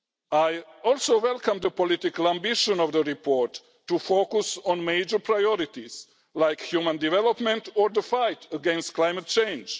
I also welcome the political ambition of the report to focus on major priorities like human development and the fight against climate change.